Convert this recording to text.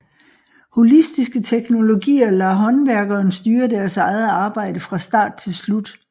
Holistiske teknologier lader håndværkeren styre deres eget arbejde fra start til slut